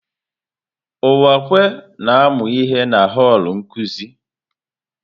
Uwakwe na-amụ ihe na họl nkuzi.